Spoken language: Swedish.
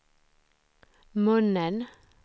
munnen